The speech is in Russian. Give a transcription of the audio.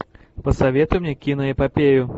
посоветуй мне киноэпопею